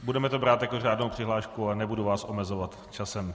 Budeme to brát jako řádnou přihlášku a nebudu vás omezovat časem.